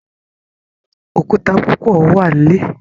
Òkúta púpọ wá nlè